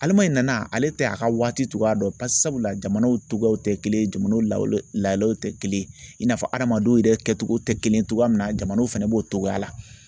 Ale ma in na ale tɛ a ka waati cogoya dɔn sabula jamanaw tɔgɔ tɛ kelen ye jamanaw la lahalaw tɛ kelen ye i n'a fɔ hadamadenw yɛrɛ kɛcogo tɛ kelen ye cogoya min na jamanaw fana b'o cogoya la